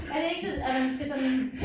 Er det ikke sådan at man skal sådan